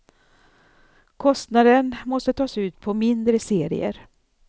Kostnaden måste tas ut på mindre serier.